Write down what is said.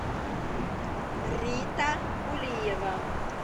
рита кулиева